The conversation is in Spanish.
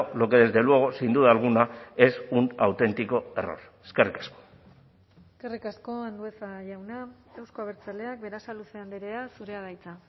lo que desde luego sin duda alguna es un auténtico error eskerrik asko eskerrik asko andueza jauna euzko abertzaleak berasaluze andrea zurea da hitza